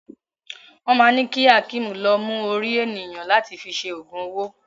Wọ́n ma ni ki Hakeem lọ mú orí ènìyàn láti fi ṣe ogun owó.